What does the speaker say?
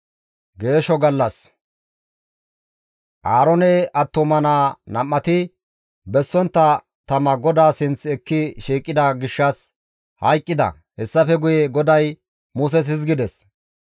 Aaroone attuma naa nam7ati bessontta tama GODAA sinth ekki shiiqida gishshas hayqqida; hessafe guye GODAY Muses hizgides,